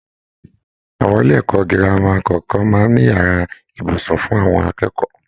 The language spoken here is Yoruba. Àwọn ilé-ẹ̀kọ́ gírámà kọọkan máa ń n'ìyàrá ibùsùn fún àwọn akẹ́kọ̀ọ́